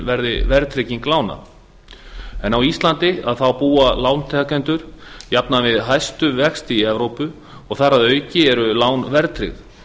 verði verðtrygging húsnæðislána á íslandi búa lántakendur húsnæðislána jafnan við hæstu vexti í evrópu og þar að auki eru lán verðtryggð